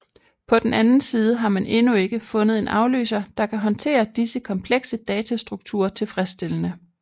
På den anden side har man endnu ikke fundet en afløser der kan håndtere disse komplekse datastrukturer tilfredsstillende